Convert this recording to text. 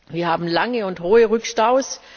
Wir haben lange und hohe Rückstaus.